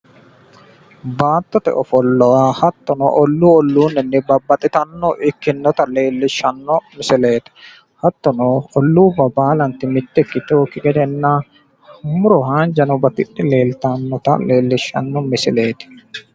baattote ofolla hattono ollu olluunni babaxitannonota ikkinota leellishshanno misileeti hattono olluubba baalanti mitte ikkitinokki gede leellishshanno misileeti hattono muro haanjano batidhe leeltanota leellishshanno misileeti.